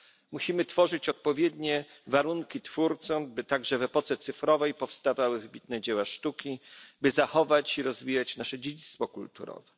Musimy tworzyć odpowiednie warunki twórcom, by także w epoce cyfrowej powstawały wybitne dzieła sztuki, by zachować i rozwijać nasze dziedzictwo kulturowe.